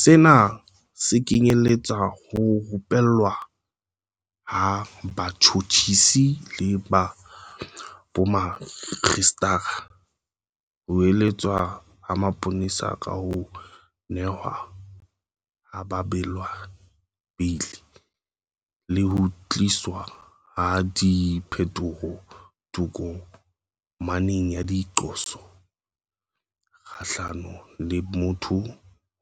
Sena se kenyeletsa ho rupellwa ha batjhotjhisi le bomakgistrata, ho eletswa ha mapolesa ka ho nehwa ha babelaellwa beili, le ho tliswa ha diphetoho tokomaneng ya diqoso kgahlano le motho